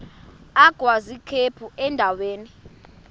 agwaz ikhephu endaweni